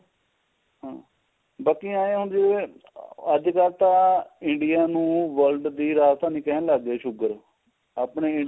ਹਮ ਬਾਕੀ ਏ ਆ ਹੁਣ ਜਿਵੇਂ ਅੱਜਕਲ ਤਾਂ India ਨੂੰ world ਦੀ ਰਾਜਧਾਨੀ ਕਹਿਣ ਲੱਗ ਗਏ sugar ਆਪਣੇ India